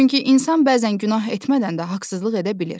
Çünki insan bəzən günah etmədən də haqsızlıq edə bilər.